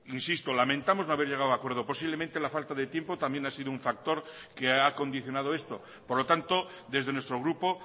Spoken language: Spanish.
insisto lamentamos no haber llegado a acuerdo posiblemente la falta de tiempo también ha sido un factor que ha condicionado esto por lo tanto desde nuestro grupo